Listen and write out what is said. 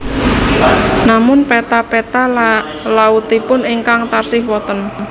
Namung péta péta lautipun ingkang tasih wonten